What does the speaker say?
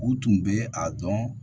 U tun bɛ a dɔn